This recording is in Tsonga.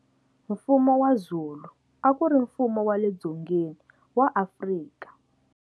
Mfumo wa Zulu, a ku ri mfumo wa le Dzongeni wa Afrika.